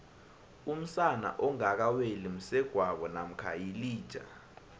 umsana ongakaweli msegwabo namkha yilija